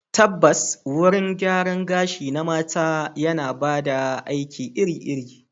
Tabbas, wurin gyaran gashi na mata yana ba da aiki iri-iri.